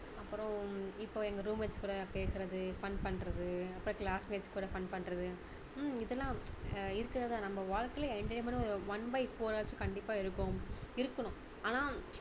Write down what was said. அப்பறம் இப்போ எங்க room mates கூட பேசுறது fun பண்றது அப்ப class mates கூட fun பண்றது உம் இதெல்லாம் அஹ் இருக்கிறது தான் நம்ம வாழ்க்கையில entertainment டும் one by four ஆச்சும் கண்டிப்பா இருக்கும் இருக்கணும் ஆனா